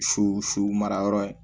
Su su mara yɔrɔ ye